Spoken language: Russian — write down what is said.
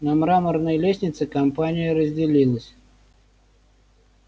на мраморной лестнице компания разделилась